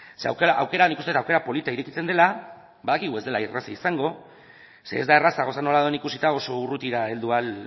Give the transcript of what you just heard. zeren aukera polita irekitzen dela uste dut badakigu ez dela erreza izango ez delako erraza gauzak nola dauden ikusita oso urrutira heldu ahal